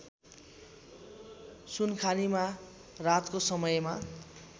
सुनखानीमा रातको समयमा